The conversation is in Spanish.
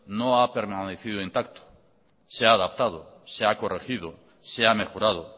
no ha permanecido intacto se ha adaptado se ha corregido se ha mejorado